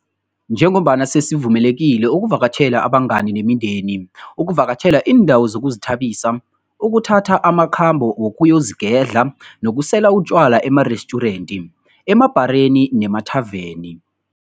Njengombana sesivumelekile ukuvakatjhela abangani nemindeni, ukuvakatjhela iindawo zokuzithabisa, ukuthatha amakhambo wokuyozigedla nokusela utjwala emarestjurenti, emabhareni nemathaveni.